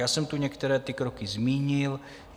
Já jsem tu některé ty kroky zmínil.